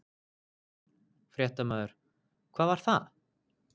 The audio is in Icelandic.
Fréttamaður: Hvar var það?